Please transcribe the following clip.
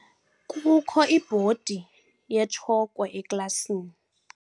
Kukho ibhodi yetshokhwe eklasini.